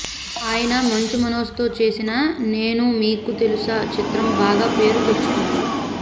ఆయన మంచు మనోజ్ తో చేసిన నేను మీకు తెలుసా చిత్రం బాగా పేరు తెచ్చుకుంది